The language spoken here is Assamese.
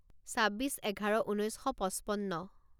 ছাব্বিছ এঘাৰ ঊনৈছ শ পঁচপন্ন